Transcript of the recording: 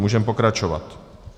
Můžeme pokračovat.